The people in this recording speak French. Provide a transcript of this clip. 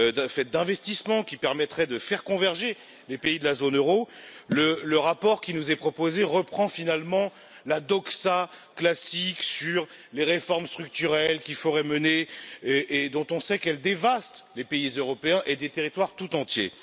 faites d'investissements qui permettraient de faire converger les pays de la zone euro, le rapport qui nous est proposé reprend finalement la doxa classique sur les réformes structurelles qu'il faudrait mener, et dont on sait qu'elles dévastent les pays européens et des territoires tout entiers.